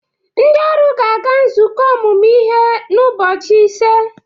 Ndị ọrụ ga-aga nzukọ ọmụmụ ihe ụbọchị ise